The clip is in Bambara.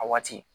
A waati